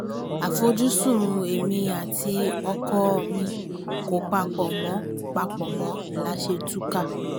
àfojúsùn èmi àti ọkọ̀ ò mì kó papọ̀ mọ́ papọ̀ mọ́ la ṣe túká